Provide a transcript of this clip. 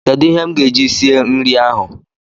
Kedụ ihe m ga-eji sie nri ahụ?.